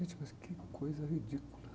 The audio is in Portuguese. Gente, mas que coisa ridícula.